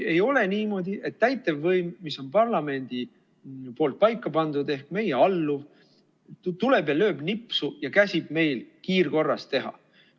Ei ole niimoodi, et täitevvõim, mis on parlamendi poolt paika pandud ehk meie alluv, tuleb ja lööb nipsu ja käsib meil kiirkorras teha.